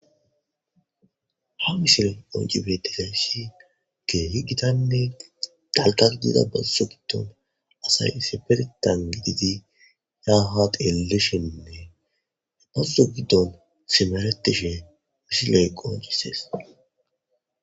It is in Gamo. ha misiley qonci betizayssi keehi gitanne dalka dida bazso giddon asay sifertan gididi yaha telishiinnee e bazso giddon simeretishe missi leeqo yisees